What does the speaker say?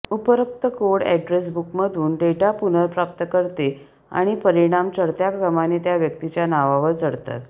उपरोक्त code address बुकमधून data पुनर्प्राप्त करते आणि परिणाम चढत्या क्रमाने त्या व्यक्तीच्या नावावर चढतात